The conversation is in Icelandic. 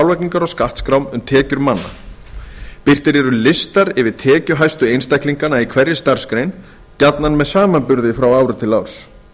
álagningar og skattskrám um tekjur manna birtir eru listar yfir tekjuhæstu einstaklingana í hverri starfsgrein gjarnan með samanburði frá ári til árs